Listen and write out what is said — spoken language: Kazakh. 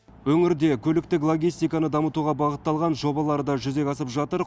өңірде көліктік логистиканы дамытуға бағытталған жобалар да жүзеге асып жатыр